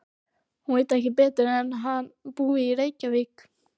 Hún veit ekki betur en hann búi í Reykjavík.